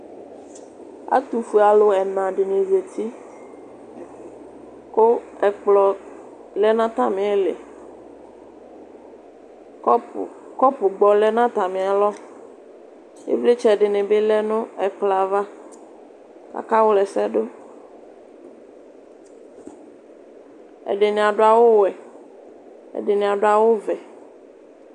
Ɛtʋfʋelʋ ɛna dɩnɩ zatɩ kʋ ɛkplɔ lɛ nʋ atamilɩ kɔpʋ gbɔ leɛ nʋ atamɩalɔ Ɩvlɩtsɛ dɩnɩ bɩ lɛ nʋ ɛkplɔ yɛ ava akawlɛsɛ dʋ Ɛdɩnɩ adʋ awʋ wɛ ɛdɩnɩ adʋ awʋ vɛ